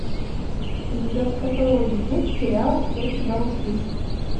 у тебя в каталоге есть сериал я тебя услышу